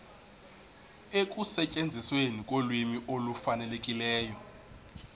ekusetyenzisweni kolwimi olufanelekileyo